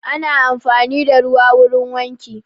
Ana amfani da ruwa wurin wanki